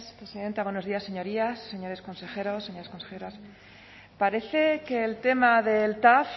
presidenta buenos días señorías señores consejeros señoras consejeras parece que el tema del tav